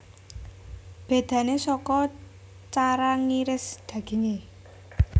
Bédané saka cara ngiris dagingé